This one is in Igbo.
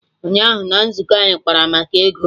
Ụnyaahụ na nzukọ anyị kpara maka ego